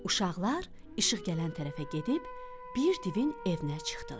Uşaqlar işıq gələn tərəfə gedib, bir divin evinə çıxdılar.